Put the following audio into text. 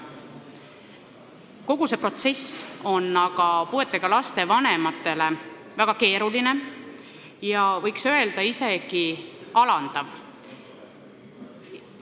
Kogu see protsess on puuetega laste vanematele väga keeruline ja võiks öelda, et isegi alandav.